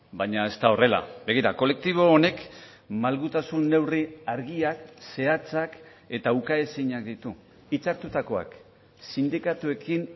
baina ez da horrela begira kolektibo honek malgutasun neurri argiak zehatzak eta ukaezinak ditu hitzartutakoak sindikatuekin